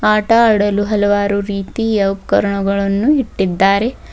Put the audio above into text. ಆಟ ಆಡಲು ಹಲವಾರು ರೀತಿಯ ಉಪಕರಣಗಳನ್ನು ಇಟ್ಟಿದ್ದಾರೆ.